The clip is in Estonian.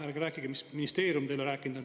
Ärge rääkige, mis ministeerium teile on rääkinud.